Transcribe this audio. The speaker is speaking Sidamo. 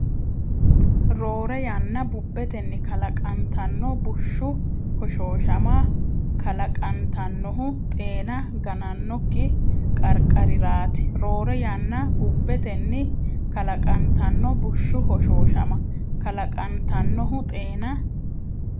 Rorre yanna bubbetenni kalaqantanno bushshu hoshooshama kala- qantannohu xeena ganannokki qarqariraati Rorre yanna bubbetenni kalaqantanno bushshu hoshooshama kala- qantannohu xeena.